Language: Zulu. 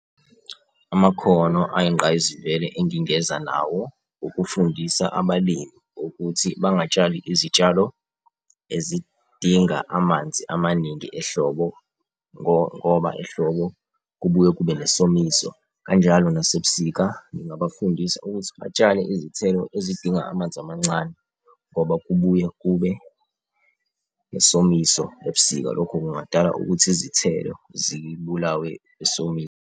Amakhono ayingqayizivele engingenza nawo, ukufundisa abalimi ukuthi bangatshali izitshalo ezidinga amanzi amaningi ehlobo ngoba ehlobo kubuye kube nesomiso. Kanjalo nasebusika, ngingabafundisa ukuthi batshale izithelo ezidinga amanzi amancane ngoba kubuye kube nesomiso ebusika, lokhu kungadala ukuthi izithelo zibulawe isomiso.